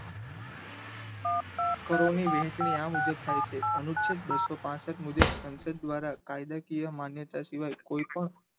કરો ની વહેચણી આ મુજબ થાય છે અનુચ્છેદ બસો પાસઠ મુજબ સંસદ દ્વારા કાયદાકીય માન્યતા સિવાય કોઈ પણ